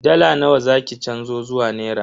Dala nawa za ki canzo zuwa naira?